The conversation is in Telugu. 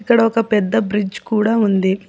ఇక్కడ ఒక పెద్ద బ్రిడ్జ్ కూడా ఉంది.